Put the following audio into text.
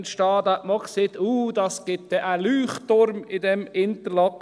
Damals hat man auch gesagt: «Oh, das gibt dann einen Leuchtturm in diesem Interlaken.